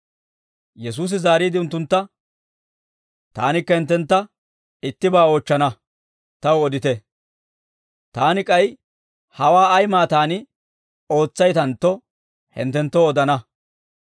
Yesuusi zaariide unttuntta, «Taanikka hinttentta ittibaa oochchana; taw odite; taani k'ay hawaa ay maataan ootsaytantto, hinttenttoo odana.